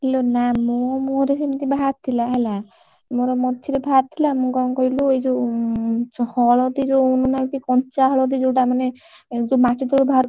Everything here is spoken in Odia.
ଇଲୋ ନା ମୋ ମୁହଁରେ ସେମିତି ବାହାରି ଥିଲା ହେଲା। ମୋର ମଝିରେ ବାହାରିଥିଲା ମୁଁ କଣ କହିଲୁ ଏଇ ଯୋଉ ହଳଦୀ ଯୋଉ ମାନେ କି କଞ୍ଚା ହଳଦୀ ଯୋଉତା ମାନେ ଯୋଉ ମାଟିତଳୁ ବାହାରକରି